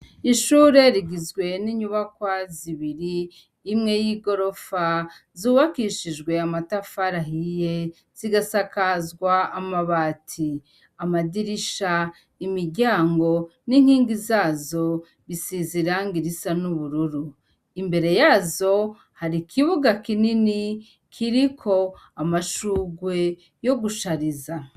Ishure igizwe n'iyubakwa zibiri, imwe y'igorofa zubakishijwe amatafari ahiye zigasakazwa amabati, amadirisha, imiryango n'inkingi zazo bisize irangi risa n'ubururu, imbere yazo hari ikibuga kinini kiriko amashurwe yo gushariza.